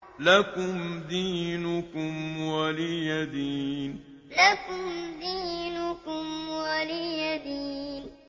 لَكُمْ دِينُكُمْ وَلِيَ دِينِ لَكُمْ دِينُكُمْ وَلِيَ دِينِ